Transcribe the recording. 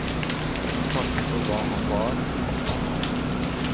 Vi takker for hva han var og at han var.